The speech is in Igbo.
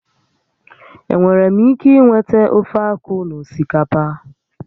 Enwere m ike inweta ofeakwu na osikapa?